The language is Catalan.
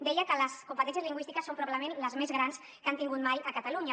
deia que les competències lingüístiques són probablement les més grans que han tingut mai a catalunya